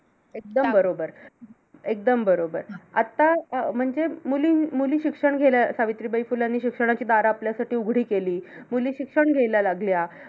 एकदम बरोबर . एकदम बरोबर. आता अं म्हणजे मुली मुली शिक्षण घेण्या सावित्रीबाई फुले यांनी शिक्षणाची दारं आपल्यासाठी उघडी केली. मुली शिक्षण घ्यायला लागल्या.